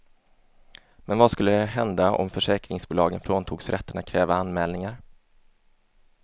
Men vad skulle hända om försäkringsbolagen fråntogs rätten att kräva anmälningar?